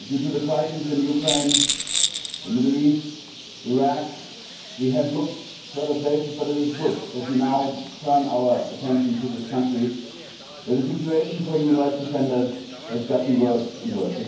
Due to the crisis in Ukraine, the Middle East, Iraq, we have been looking at other places but it is good that we now turn our attention to this country where the situation for human rights defenders has got worse and worse.